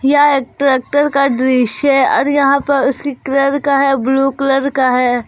यह एक ट्रैक्टर का दृश्य है और यहां पर उसकी का है ब्लू कलर का है।